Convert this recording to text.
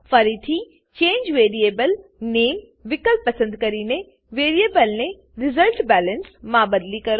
ફરીથી change variable નામે change variable name વિકલ્પ પસંદ કરીને વેરીએબલને રિઝલ્ટબેલેન્સ રીઝલ્ટબેલેન્સ માં બદલી કરો